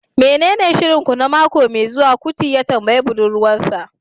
menene shirin ku na mako mai zuwa? kuti ya tambayi budurwar sa